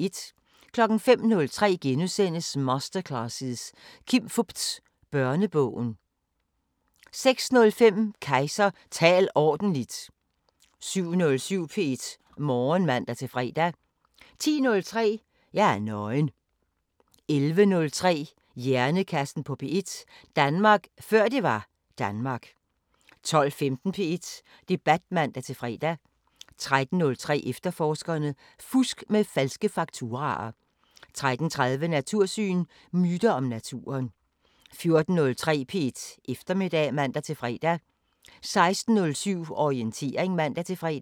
05:03: Masterclasses – Kim Fupz: Børnebogen * 06:05: Kejser: Tal ordentligt! 07:07: P1 Morgen (man-fre) 10:03: Jeg er nøgen 11:03: Hjernekassen på P1: Danmark før det var Danmark 12:15: P1 Debat (man-fre) 13:03: Efterforskerne: Fusk med falske fakturaer 13:30: Natursyn: Myter om naturen 14:03: P1 Eftermiddag (man-fre) 16:07: Orientering (man-fre)